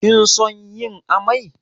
Kin son yin ammai?